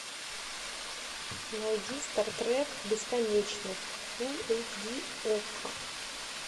найди стартрек бесконечность фулл эйч ди окко